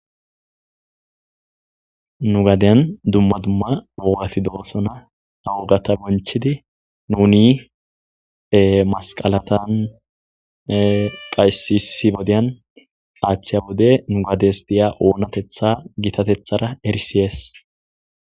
nu gadeyan dumma dumma woogati doosona ha wogata bonchidi nuni masqalatan qaysisi bodyan aaththiya wode nugades diya oonatetha gitatethara erisiyees